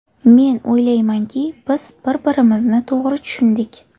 Men o‘ylaymanki, biz bir-birimizni to‘g‘ri tushundik.